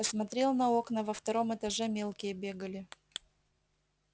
посмотрел на окна во втором этаже мелкие бегали